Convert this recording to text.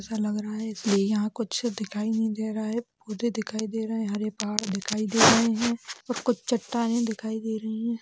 ऐसा लग रहा है की यहाँ कुछ दिखाई नहीं दे रहा है कूदे दिखाई दे रहे हैं हरे पहाड़ दिखाई दे रहे हैं और कुछ चट्टानें दिखाई दे रही है।